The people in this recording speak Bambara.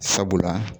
Sabula